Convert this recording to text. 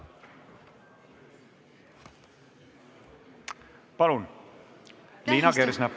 Palun, Liina Kersna!